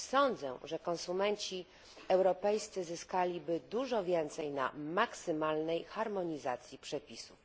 Sądzę, że konsumenci europejscy zyskaliby dużo więcej na maksymalnej harmonizacji przepisów.